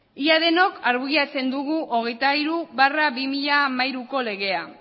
ia denok argudiatzen dugu hogeita hiru barra bi mila hamairuko legea